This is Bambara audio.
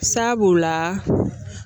Sabu la